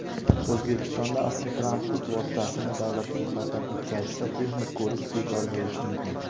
O‘zbekistonda avtotransport vositasini davlat ro‘yxatidan o‘tkazishda texnik ko‘rik bekor bo‘lishi mumkin.